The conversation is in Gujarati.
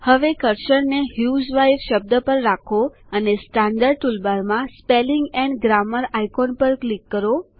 હવે કર્સરને હ્યુઝવાઇફ શબ્દ પર રાખો અને સ્ટેન્ડર્ડ ટુલબારમા સ્પેલિંગ એન્ડ ગ્રામર આઈકોન ચિહ્ન પર ક્લિક કરો